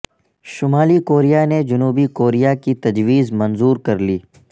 شمالی کوریا نے جنوبی کوریا کی تجویز منظور کر لی